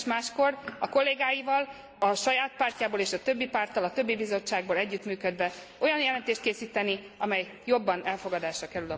Érdemes máskor a kollégáival a saját pártjából és a többi párttal a többi bizottságból együttműködve olyan jelentést készíteni, amely jobban elfogadásra kerül a Parlamentben.